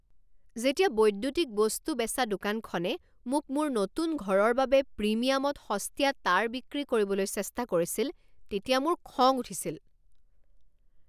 যেতিয়া বৈদ্যুতিক বস্তু বেচা দোকানখনে মোক মোৰ নতুন ঘৰৰ বাবে প্ৰিমিয়ামত সস্তীয়া তাঁৰ বিক্ৰী কৰিবলৈ চেষ্টা কৰিছিল তেতিয়া মোৰ খং উঠিছিল।